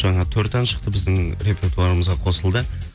жаңа төрт ән шықты біздің репертуарымызға қосылды